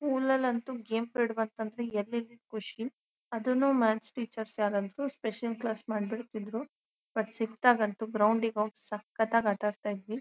ಸ್ಕೂಲ್ಲ್ಯಾ ಅಂತೂ game period ಬಂತು ಅಂದ್ರೆ ಎಲ್ಲಿಲ್ಲದ ಖುಷಿ ಅದನ್ನುಮಾಥ್ಸ್ ಟೀಚರ್ ಯಾರಾದ್ರು ಸ್ಪೆಷಲ್ ಕ್ಲಾಸ್ ಮಾಡಬಿಡತ್ತಿದ್ರು ಬಟ್ ಸಿಕ್ಕದಾಗಂತೂ ಗ್ರೌಂಡ್ಗೆ ಹೋಗಿ ಸಕ್ಕತ್ತಾಗಿ ಆಟಡ್ತಿದ್ವಿ.